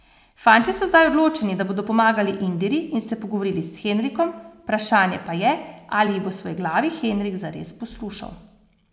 Fantje so zdaj odločeni, da bodo pomagali Indiri in se pogovorili s Henrikom, vprašanje pa je, ali jih bo svojeglavi Henrik zares poslušal.